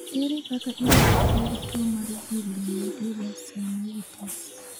Ere kaka inyalo thiedh tuwo mar villonodular synovitis?